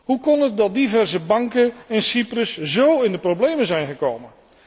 Hoe kon het dat diverse banken in Cyprus zo in de problemen zijn gekomen?